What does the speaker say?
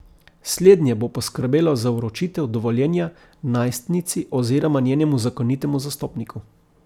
Slednje bo poskrbelo za vročitev dovoljenja najstnici oziroma njenemu zakonitemu zastopniku.